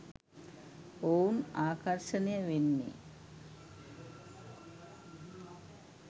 ඔවුන් ආකර්ෂණය වෙන්නේ